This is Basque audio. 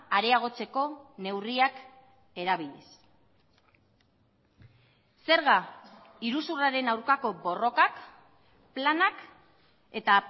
areagotzeko neurriak erabiliz zerga iruzurraren aurkako borrokak planak eta